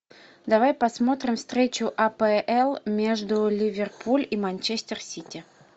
давай посмотрим встречу апл между ливерпуль и манчестер сити